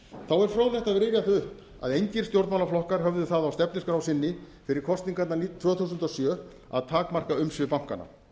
rifja það upp að engir stjórnmálaflokkar höfðu það á stefnuskrá sinni fyrir kosningarnar tvö þúsund og sjö að takmarka umsvif bankanna